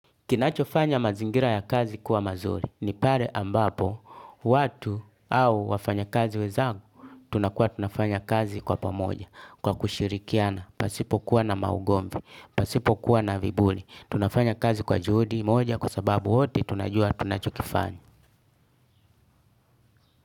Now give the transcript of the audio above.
Kinachofanya mazingira ya kazi kuwa mazuri, nipale ambapo, watu au wafanya kazi wenzangu, tunakua tunafanya kazi kwa pamoja, kwa kushirikiana, pasipo kuwa na maugomvi, pasipo kuwa na viburi, tunafanya kazi kwa juhudi moja kwa sababu wote tunajua tunachokifanya.